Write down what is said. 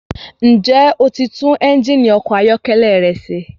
Ǹjẹ́ o ti tún ẹ́njìnì ọkọ̀ ayọ́kẹ́lẹ́ rẹ ṣe?